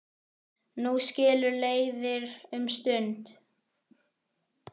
Nú skilur leiðir um stund.